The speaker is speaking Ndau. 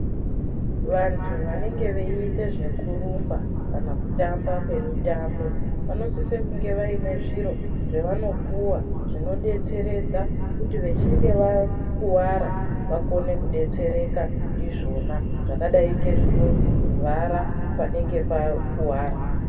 Vantu vanenge veiite zvekurumba kana kutamba kwemitambo vanosise kunge vaine zviro zvevanopiwa zvinodetseredza kuti vechinge wakuwara wakone wakone kudetsereka ndizvona zvakadai ngezvinovhara panenge pakuwara.